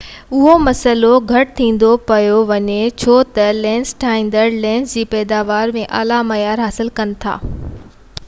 اهو مسئلو گهٽ ٿيندو پيو وڃي ڇو تہ لينس ٺاهيندڙ لينس جي پئداوار ۾ اعليٰ معيار حاصل ڪن ٿا